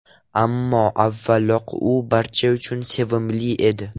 Ammo avvalroq u barcha uchun sevimli edi.